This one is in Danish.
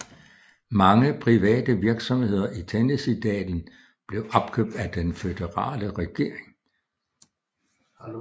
Mange private virksomheder i Tennessee dalen blev opkøbt af den føderale regering